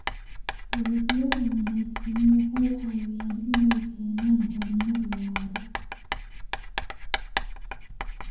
Dalagyada wanaagsani waxay caawiyaan inay keenaan horumar waara.